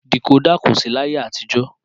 Dìkódà kò sí làyé àtijọ́